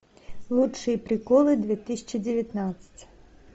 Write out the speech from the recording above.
лучшие приколы две тысячи девятнадцать